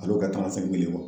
Ale y'o kɛ ye kɔrɔ.